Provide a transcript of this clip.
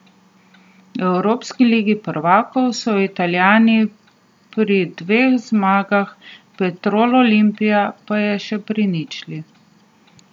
V evropski ligi prvakov so Italijani pri dveh zmagah, Petrol Olimpija pa je še pri ničli.